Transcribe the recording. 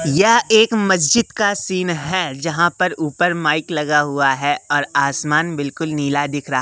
यह एक मस्जिद का सीन है जहां पर ऊपर माइक लगा हुआ है और आसमान बिल्कुल नीला दिख रा--